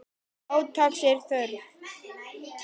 Átaks er þörf.